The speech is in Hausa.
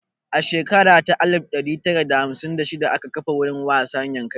A shekara ta alif ɗari tara da hamsin da shida aka kafa wurin wasa Yankari